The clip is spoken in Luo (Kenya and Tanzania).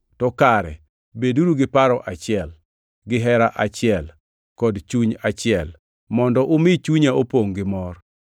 to kare beduru gi paro achiel, gihera achiel kod chuny achiel mondo umi chunya opongʼ gi mor.